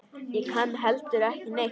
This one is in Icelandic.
Ég kann heldur ekki neitt.